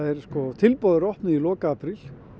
tilboð eru opnuð í lok apríl